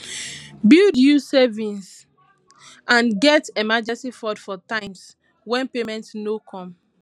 build you savings and get emergency fund for times when payment no come